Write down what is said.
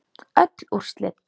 Öll úrslit